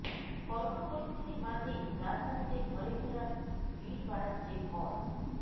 corona পরিস্থিতির মাঝেই রাজধানীতে ঘরে ফেরার ভিড় বাড়াচ্ছে ভয়